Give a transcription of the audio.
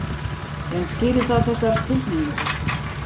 En skýrir það þessar tilhneigingar?